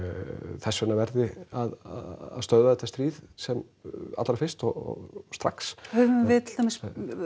þess vegna verði að stöðva þetta stríð sem allra fyrst og strax höfum við til dæmis